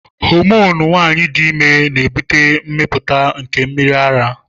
Homonu nwanyị dị ime na-ebute mmepụta nke mmiri ara.